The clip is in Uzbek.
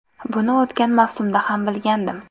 Buni o‘tgan mavsumda ham bilgandim.